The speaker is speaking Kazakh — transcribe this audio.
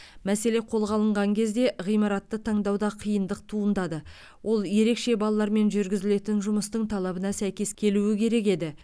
мәселе қолға алынған кезде ғимаратты таңдауда қиындық туындады ол ерекше балалармен жүргізілетін жұмыстың талабына сәйкес келуі керек еді